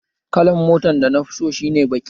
Kalan mota dana fi so shi ne baki